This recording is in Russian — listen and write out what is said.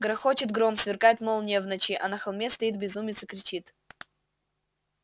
грохочет гром сверкает молния в ночи а на холме стоит безумец и кричит